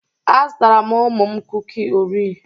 Azụtara m ụmụ m kuki orea.